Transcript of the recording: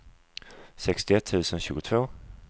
sextioett tusen tjugotvå